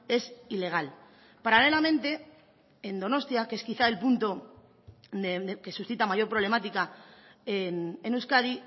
es ilegal paralelamente en donostia que es quizá el punto que suscita mayor problemática en euskadi